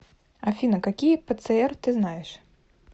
афина какие пцр ты знаешь